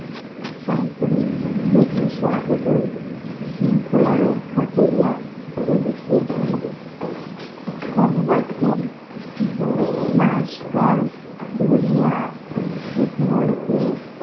সমাপনী দেশের শরবতই শৃঙ্খলা রক্ষা করিয়া চলিতে হইবে পূর্ববর্তী দুই মাসকার ধরিয়া ইতিমধ্যে